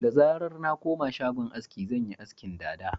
Da zarar na koma shagon aski, zan yi askin dada